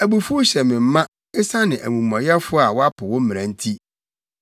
Abufuw hyɛ me ma, esiane amumɔyɛfo a wɔapo wo mmara nti.